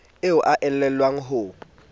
eo a e elellwang ho